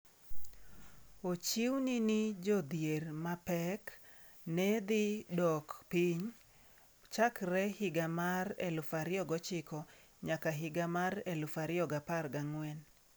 Ochiwni ni jodhier mapek ne dhi dok piny chakre higa mar 2009 nyaka higa mar 2014.